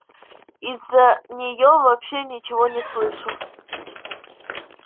из-за неё вообще ничего не слышу